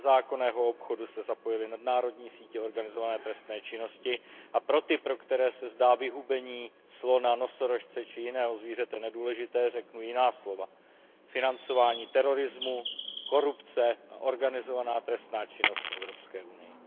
Do nezákonného obchodu se zapojily nadnárodní sítě organizované trestné činnosti a pro ty, kterým se zdá vyhubení slona, nosorožce či jiného zvířete nedůležité, řeknu jiná slova financování terorismu, korupce a organizovaná trestná činnost v Evropské unii.